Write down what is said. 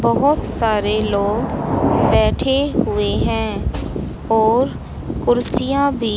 बहोत सारे लोग बैठे हुवे हैं और कुर्सियाँ बी--